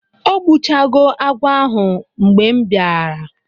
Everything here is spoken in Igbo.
o gbu cha go agwo ahu mgbe m bia ra